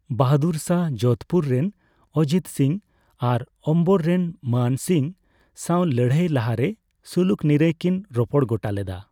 ᱵᱟᱦᱟᱫᱩᱨ ᱥᱟᱦᱚ ᱡᱳᱫᱷᱯᱩᱨ ᱨᱮᱱ ᱚᱡᱤᱛ ᱥᱤᱝ ᱟᱨ ᱚᱢᱵᱚᱨ ᱨᱮᱱ ᱢᱟᱱ ᱥᱤᱝ ᱥᱟᱣ ᱞᱟᱹᱲᱦᱟᱹᱭ ᱞᱟᱦᱟᱨᱮ ᱥᱩᱞᱩᱠ ᱱᱤᱨᱟᱹᱭ ᱠᱤᱱ ᱨᱚᱯᱚᱲ ᱜᱚᱴᱟ ᱞᱮᱫᱟ ᱾